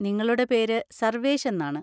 നിങ്ങളുടെ പേര് സർവേഷ് എന്നാണ്.